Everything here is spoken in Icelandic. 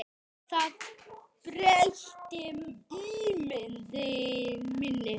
Það breytti ímynd minni.